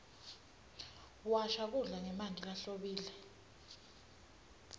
washa kudla ngemanti lahlobile